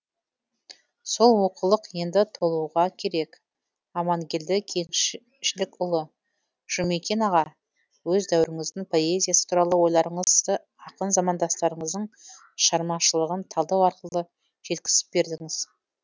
сол олқылық енді толуға керек амангелді кеңшілікұлы жұмекен аға өз дәуіріңіздің поэзиясы туралы ойларыңызды ақын замандастарыңыздың шығармашылығын талдау арқылы жеткізіп бердіңіз